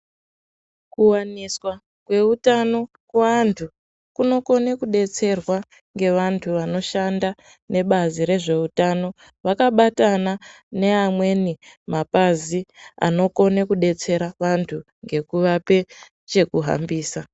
Kuwaniswa kweutano kuantu kunokone kudetserwa ngevantu vanoshanda nebazi rezveutano vanabatana neamweni mapazi anokone kudetsera vantu ngekuvape chekuhambisa.